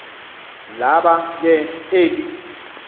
laba ke eli